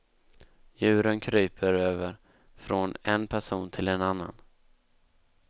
Djuren kryper över från en person till en annan.